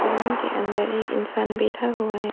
Salon के अंदर ये इंसान बैठा हुआ है।